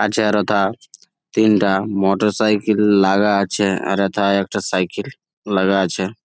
আছে আরতা তিনটা মোটরসাইকেল লাগা আছে আর এথায় একটা সাইকেল লাগা আছে।